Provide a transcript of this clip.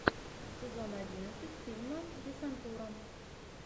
сезон одиннадцать фильма десантура